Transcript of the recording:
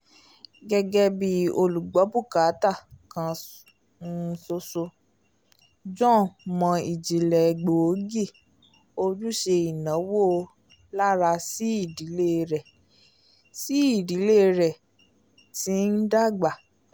gẹ́gẹ́ bí olùgbọ̀bukatà kan um ṣoṣo john mọ̀ ìje gbóògì ojúṣe ìnáwó lára sí ìdílé rẹ̀ sí ìdílé rẹ̀ tí ń dàgbà